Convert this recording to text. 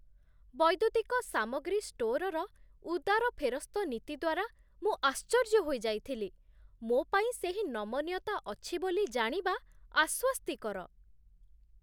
ବୈଦ୍ୟୁତିକ ସାମଗ୍ରୀ ଷ୍ଟୋର୍‌ର ଉଦାର ଫେରସ୍ତ ନୀତି ଦ୍ୱାରା ମୁଁ ଆଶ୍ଚର୍ଯ୍ୟ ହୋଇଯାଇଥିଲି, ମୋ ପାଇଁ ସେହି ନମନୀୟତା ଅଛି ବୋଲି ଜାଣିବା ଆଶ୍ୱସ୍ତିକର